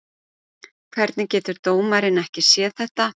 Hvernig getur dómarinn ekki séð þetta?